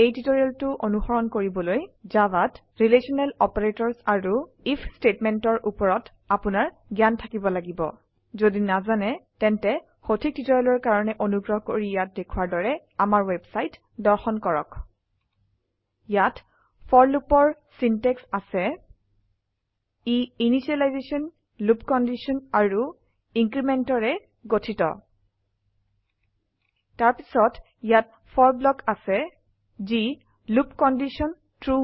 এই টিউটোৰিয়েলটো অনুসৰণ কৰিবলৈ জাভাত ৰিলেশ্যনেল অপাৰেটৰ্ছ আৰু আইএফ ষ্টেটমেণ্ট ৰ ওপৰত আপোনাৰ জ্ঞান থাকিব লাগিব যদি নাজানে তেন্তে সঠিক টিউটৰিয়েলৰ কাৰনে অনুগ্ৰহ কৰি ইয়াত দেখোৱাৰ দৰে আমাৰ ৱেবছাইট দৰ্শন কৰক httpwwwspoken tutorialঅৰ্গ ইয়াত ফৰ loopৰ চিন্তেক্চ আছে ই ইনিশিয়েলাইজেশ্যন লুপ কণ্ডিশ্যন আৰু incrementৰে গঠিত তাৰ পিছত ইয়াত ব্লক কাৰনে আছে যি দেখোৱায় থাকে যেতিয়ালকে লুপ কণ্ডিশ্যন সচা ট্ৰু